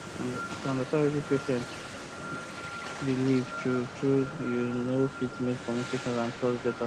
to understand wetin patient believe true true you know fit make communication and trust better